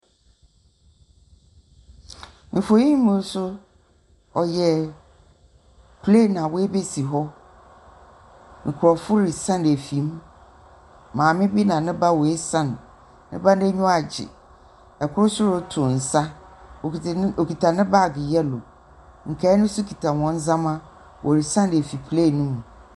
Mfonyin yi mu so, ɔyɛ plane a woebesi hɔ. nkorɔfo risian efi mu, maame bi na ne ba woesian, ne ba no n’enyiwa agye. Kor so rotow nsa, okitsa okitsa ne baage yellow. Nkaa no so kitsa hɔn ndzɛmba, worisian efi plane no mu.